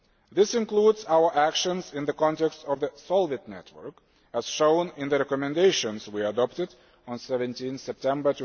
This includes our actions in the context of the SOLVIT network, as shown in the recommendations we adopted on 17September